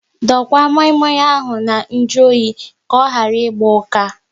Dokwa moi moi ahụ na nju oyi ka ọ ịgba ụka